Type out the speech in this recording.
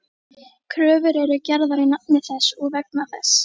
Kröfur eru gerðar í nafni þess og vegna þess.